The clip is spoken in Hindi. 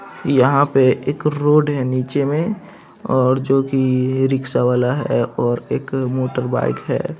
यहाँ पे एक रोड है नीचे में और जो की रिक्सा वाला है और एक मोटरबाइक है।